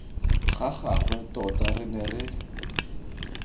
ga gagwe tota re ne